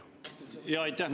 Aitäh!